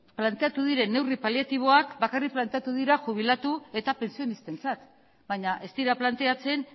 planteatu diren neurri paliatiboak bakarrik planteatu dira jubilatu eta pentsionistentzat baina ez dira planteatzen